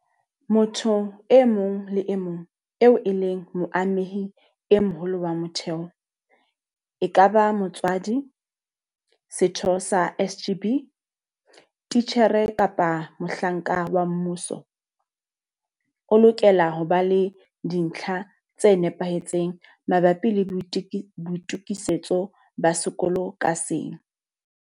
Motho e mong le e mong eo e leng moamehi e moholo wa motheo, ekaba motswadi, setho sa SGB, titjhere kapa mohlanka wa mmuso, o lokela ho ba le dintlha tse nepahetseng mabapi le boitokisetso ba sekolo ka seng.